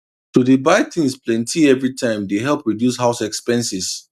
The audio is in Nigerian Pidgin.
to dey buy things plenty everytime dey help reduce house expenses